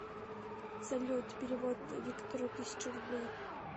салют перевод виктору тысяча рублей